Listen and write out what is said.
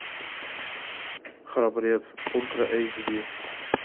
храбрец ультра эйч ди